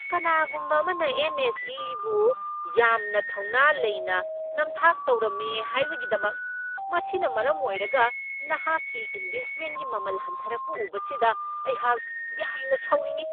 ꯀꯅꯥꯒꯨꯝꯕ ꯑꯃꯅ ꯑꯦꯟ. ꯑꯦꯁ.ꯏ.ꯕꯨ ꯌꯥꯝꯅ ꯊꯧꯅꯥ ꯂꯩꯅ ꯅꯝꯊꯥꯛ ꯇꯧꯔꯝꯃꯦ ꯍꯥꯏꯕꯒꯤꯗꯃꯛ ꯃꯁꯤꯅ ꯃꯔꯝ ꯑꯣꯏꯔꯒ ꯑꯩꯍꯥꯛꯀꯤ ꯏꯟꯕꯦꯁ꯭ꯠꯃꯦꯟꯒꯤ ꯃꯃꯜ ꯍꯟꯊꯔꯛꯄ ꯎꯕꯁꯤꯗ ꯑꯩꯍꯥꯛ ꯌꯥꯝꯅ ꯁꯥꯎꯅꯤꯡꯢ ꯫